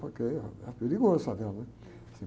Porque, ãh, é perigoso, favela, né?